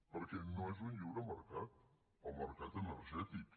perquè no és un lliure mercat el mercat energètic